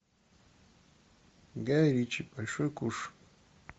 гай ричи большой куш